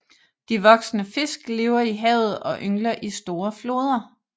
De voksne fisk lever i havet og yngler i store floder